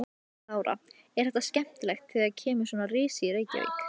Hvern telur þú vera lykilmann í ykkar liði?